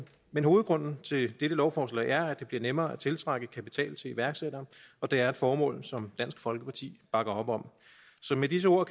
men hovedårsagen til dette lovforslag er at det bliver nemmere at tiltrække kapital til iværksættere og det er et formål som dansk folkeparti bakker op om så med disse ord